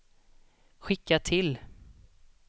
skicka till